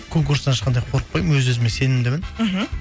конкурстан ешқандай қорықпаймын өз өзіме сенімдімін мхм